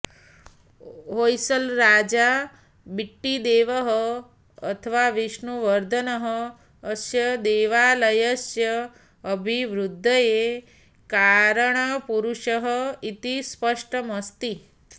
होय्सलराजा बिट्टिदेवः अथवा विष्णुवर्धनः अस्य देवालयस्य अभिवृद्धये कारणपुरुषः इति स्पष्टमस्ति